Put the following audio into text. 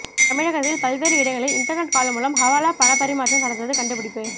தமிழகத்தில் பல்வேறு இடங்களில் இன்டர்நெட் கால் மூலம் ஹவாலா பணப்பரிமாற்றம் நடந்தது கண்டுபிடிப்பு